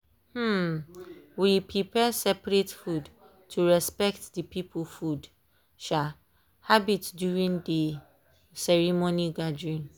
um we prepare separate food to respect dey people food um habits during dey ceremony gathering.